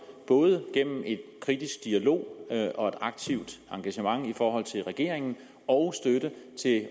både gennem en kritisk dialog og et aktivt engagement i forhold til regeringen og støtte